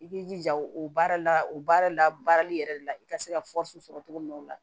I b'i jija o baara la o baara la baarali yɛrɛ la i ka se ka sɔrɔ cogo min na o la